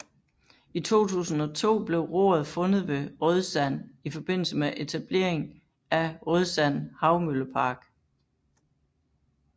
I 2002 blev roret fundet ved Rødsand i forbindelse med etablering af Rødsand Havmøllepark